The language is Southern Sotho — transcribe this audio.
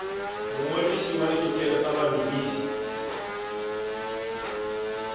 mongodisi wa ditokelo tsa bamedisi